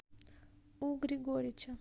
у григорича